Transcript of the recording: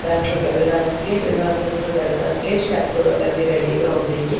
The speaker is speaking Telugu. దాంట్లో కెళ్లడానికి రెండో అంతస్థు లోకెళ్లడానికి స్టెప్స్ గట్ట అన్ని రెడీ గా ఉన్నాయి.